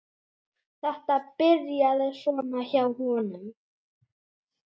Þetta byrjaði svona hjá honum.